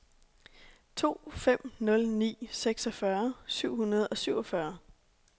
to fem nul ni seksogfyrre syv hundrede og syvogfyrre